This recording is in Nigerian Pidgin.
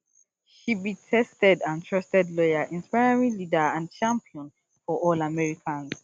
she be tested and trusted lawyer inspiring leader and champion for all americans